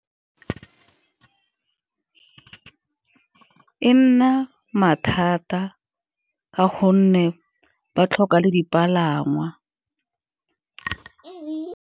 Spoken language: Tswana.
E nna mathata ka gonne ba tlhoka le dipalangwa.